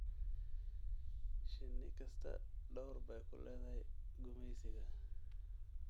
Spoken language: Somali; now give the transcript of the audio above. Shinni kastaa door bay ku leedahay gumaysiga.